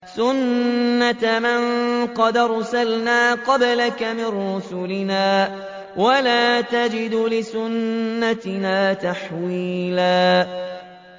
سُنَّةَ مَن قَدْ أَرْسَلْنَا قَبْلَكَ مِن رُّسُلِنَا ۖ وَلَا تَجِدُ لِسُنَّتِنَا تَحْوِيلًا